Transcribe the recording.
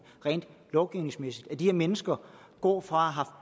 rent lovgivningsmæssigt nemlig at de her mennesker går fra